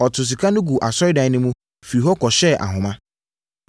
Ɔtoo sika no guu asɔredan no mu, firii hɔ kɔhyɛɛ ahoma.